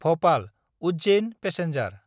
Bhopal-Ujjain passenger